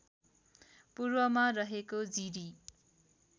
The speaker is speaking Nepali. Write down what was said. पूर्वमा रहेको जिरी